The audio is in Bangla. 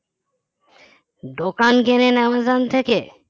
দোকান কেনেন অ্যামাজন থেকে